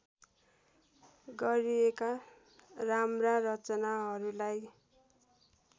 गरिएका राम्रा रचनाहरूलाई